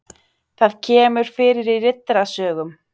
Það kemur fyrir í Riddarasögum.